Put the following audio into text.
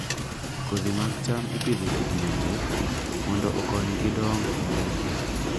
Kodhi mag cham ipidho e kidienje mondo okonygi dongo maber.